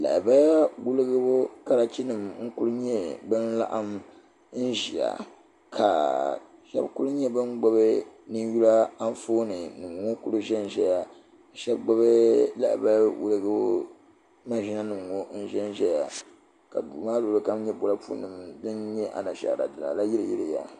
Lahabaya Karachi nima n nyɛ bin kuli n laɣim n ʒia ka sheba kuli nyɛ bin gbibi ninyula Anfooni nima kuli ʒɛnʒɛya ka sheba gbibi lahabali maʒina nima ŋɔ n ʒɛnʒɛya ka duu maa luɣuli kam nyɛ bolipu nima din nyɛ anashaara dina la yili yiliya.